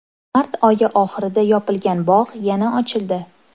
Mart oyi oxirida yopilgan bog‘ yana ochildi.